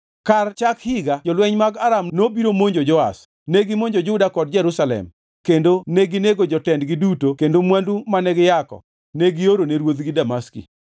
Kar chak higa, jolweny mag Aram nobiro monjo Joash, negimonjo Juda kod Jerusalem kendo neginego jotendgi duto kendo mwandu mane giyako ne giorone ruodhgi Damaski.